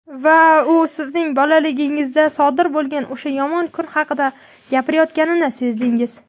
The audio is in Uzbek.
Va u sizning bolaligingizda sodir bo‘lgan "o‘sha yomon kun" haqida gapirayotganini sezdingiz.